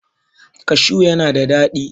cashu yana da dadi